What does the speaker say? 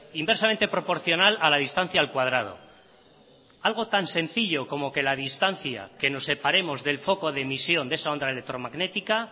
inversamente proporcional a la distancia al cuadrado algo tan sencillo como que la distancia que nos separemos del foco de emisión de esa onda electromagnética